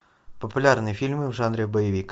популярные фильмы в жанре боевик